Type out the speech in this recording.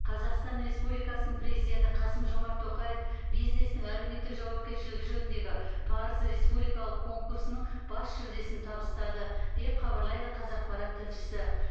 қазақстан республикасының президенті қасым жомарт тоқаев бизнестің әлеуметтік жауапкершілігі жөніндегі парыз республикалық конкурсының бас жүлдесін табыстады деп хабарлайды қазақпарат тілшісі